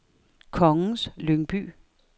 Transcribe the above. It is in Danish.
Kongens Lyngby